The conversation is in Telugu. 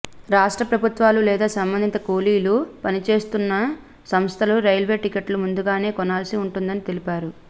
రాష్ట్ర ప్రభుత్వాలు లేదా సంబంధిత కూలీలు పనిచేస్తోన్న సంస్థలు రైల్వే టిక్కెట్లు ముందుగానే కొనాల్సి ఉంటుందని తెలిపారు